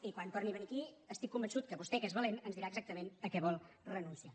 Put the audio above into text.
i quan torni a venir aquí estic convençut que vostè que és valent ens dirà exactament a què vol renunciar